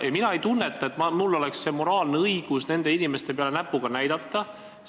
Ma ei tunne, et mul oleks moraalne õigus nende inimeste peale näpuga näidata.